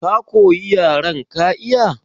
Ka koyi yaren ka iya?